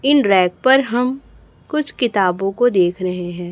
इन rack पर हम कुछ किताबों को देख रहे हैं।